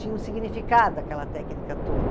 Tinha um significado aquela técnica toda.